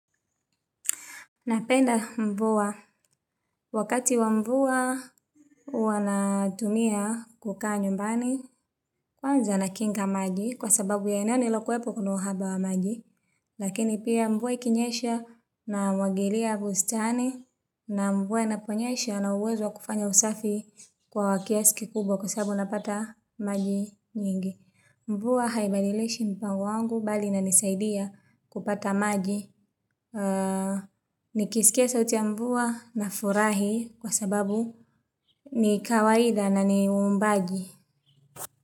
Napenda mvua. Wakati wa mvua huwa natumia kukaa nyumbani, kwanza nakinga maji kwa sababu ya eneo nililokuwepo kuna uhaba wa maji. Lakini pia mvua ikinyesha namwagilia bustani na mvua inaponyesha nina uwezo wa kufanya usafi kwa kiasi kikubwa kwa sababu napata maji nyingi. Mvua haibadilishi mpango wangu bali inanisaidia kupata maji. Nikisikia sauti ya mvua nafurahi kwa sababu ni kawaida na ni uumbaji.